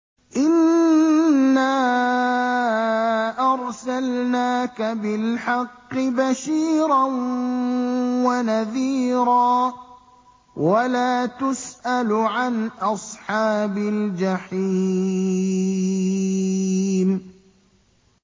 إِنَّا أَرْسَلْنَاكَ بِالْحَقِّ بَشِيرًا وَنَذِيرًا ۖ وَلَا تُسْأَلُ عَنْ أَصْحَابِ الْجَحِيمِ